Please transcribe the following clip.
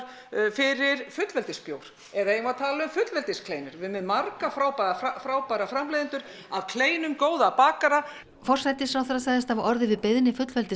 fyrir eða eigum við að tala um fullveldiskleinur við erum með marga frábæra frábæra framleiðendur að kleinum og góða bakara forsætisráðherra sagðist hafa orðið við beiðni